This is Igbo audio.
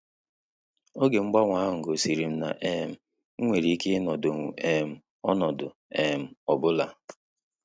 Oge mgbanwe ahụ gosirim na um m nwere ike ịnọdonwu um ọnọdụ um ọbụla